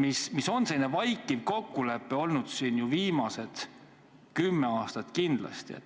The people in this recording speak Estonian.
mis on selline vaikiv kokkulepe olnud siin viimased kümme aastat kindlasti.